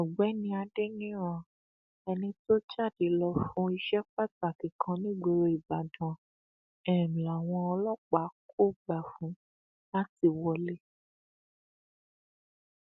ọgbẹni adẹnirán ẹni tó jáde lọ fún iṣẹ pàtàkì kan nígboro ìbàdàn um làwọn ọlọpàá kò gbà fún láti wọlé um